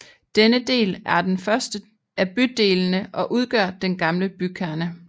Denne del er den første af bydelene og udgør den gamle bykerne